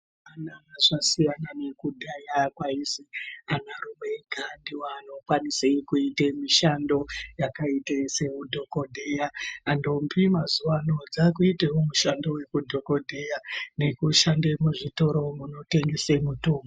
Mazuwa anaya zvasiyana nekudhaya kwaizi anarume ega ndiwo anokwanise kuite mishando yakaite seyeudhokodheya. Ndombi mazuwano dzakuitewo mushando wekudhokodheya nekushande muzvitoro munotengese mitombo.